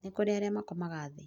nĩkũrĩ arĩa makomaga thĩ